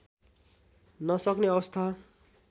नसक्ने अवस्था